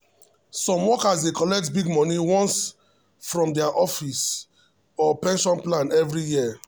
some workers dey collect big money once from their office or pension plan every year.